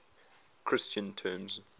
christian terms